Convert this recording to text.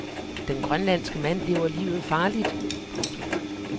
Den grønlandske mand lever livet farligt. punktum